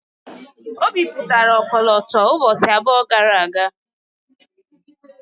O bipụtara ọkọlọtọ ụbọchị abụọ gara aga.